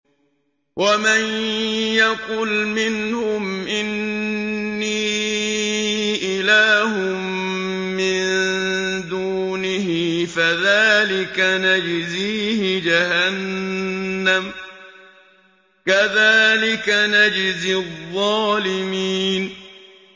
۞ وَمَن يَقُلْ مِنْهُمْ إِنِّي إِلَٰهٌ مِّن دُونِهِ فَذَٰلِكَ نَجْزِيهِ جَهَنَّمَ ۚ كَذَٰلِكَ نَجْزِي الظَّالِمِينَ